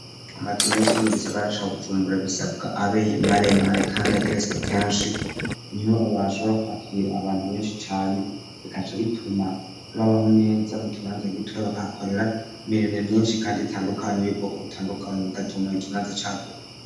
Amazu menshi yo mu gisagara ca Bujumbura, bisabwa abe maremare kandi ageretswe kenshi, niho bashobora kwakira abantu benshi cane, bikaca bituma babaho neza mu kibanza gitoya, bakahakorera mirimo myinshi kandi itandukanye y'ubwoko butandukanye, bigatuma ikibanza caguka.